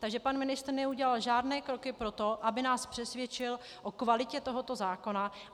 Takže pan ministr neudělal žádné kroky pro to, aby nás přesvědčil o kvalitě tohoto zákona.